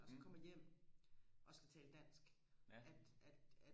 og så kommer hjem og skal tale dansk at at